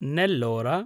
Nellore